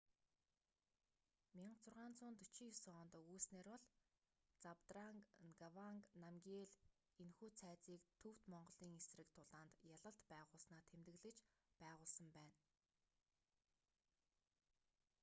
1649 онд өгүүлсэнээр бол забдранг нгаванг намгиел энэхүү цайзыг төвд-монголын эсрэг тулаанд ялалт байгуулсанаа тэмдэглэж байгуулсан байна